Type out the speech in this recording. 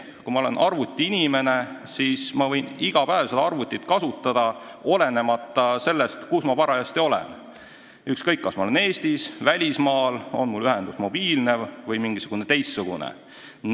Kui ma olen arvutiinimene, siis ma võin arvutit kasutada iga päev, olenemata sellest, kus ma parajasti olen – ükskõik, kas ma olen Eestis või välismaal, on mul internetiühendus mobiilne või mingisugune teistsugune.